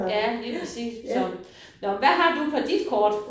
Ja lige præcis så. Nåh men hvad har du på dit kort?